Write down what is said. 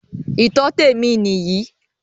Ìtọ́tẹ̀ mi nìyí.